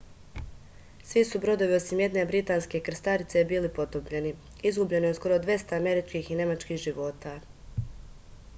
svi su brodovi osim jedne britanske krstarice bili potopljeni izgubljeno je skoro dvesta američkih i nemačkih života